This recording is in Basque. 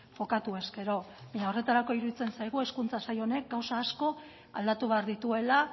jokatu ezkero baina horretarako iruditzen zaigu hezkuntza sail honek gauza asko aldatu behar dituela